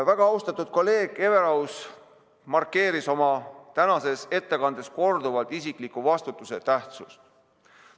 Väga austatud kolleeg Everaus markeeris oma tänases ettekandes korduvalt isikliku vastutuse tähtsust.